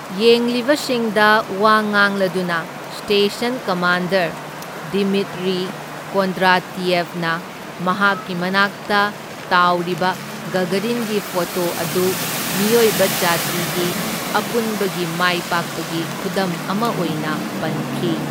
ꯌꯦꯡꯂꯤꯕꯁꯤꯡꯗ ꯋꯥ ꯉꯥꯡꯂꯗꯨꯅ station commander Dimitri ꯀꯣꯟꯗ꯭ꯔꯥꯇꯤꯌꯦꯚꯅ ꯃꯍꯥꯛꯀꯤ ꯃꯅꯥꯛꯇ ꯇꯥꯎꯔꯤꯕ ꯒꯒꯥꯔꯤꯟꯒꯤ ꯐꯣꯇꯣ ꯑꯗꯨ ꯃꯤꯑꯣꯏꯕ ꯖꯥꯇꯤꯒꯤ ꯑꯄꯨꯟꯕꯒꯤ ꯃꯥꯏꯄꯥꯛꯄꯒꯤ ꯈꯨꯗꯝ ꯑꯃ ꯑꯣꯏꯅ ꯄꯟꯈꯤ꯫